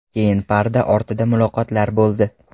Keyin parda ortida muloqotlar bo‘ldi.